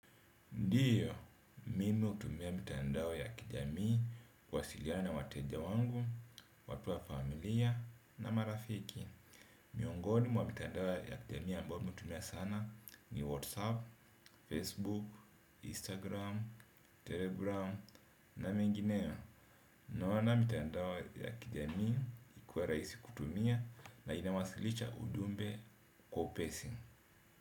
Ndiyo, mimi hutumia mitandao ya kijamii kuwasiliana na wateja wangu, watu wa familia na marafiki. Miongoni mwa mitandao ya kijamii ambayo mimi hutumia sana ni Whatsapp, Facebook, Instagram, Telegram na mingineo. Naona mitandao ya kijamii ikiwa rahisi kutumia na inawasilisha ujumbe kwa upesi.